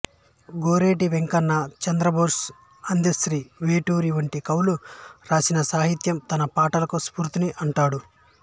గోరటి వెంకన్న చంద్రబోస్ అందెశ్రీ వేటూరి వంటి కవులు రాసిన సాహిత్యం తన పాటలకు స్ఫూర్తిని అంటాడు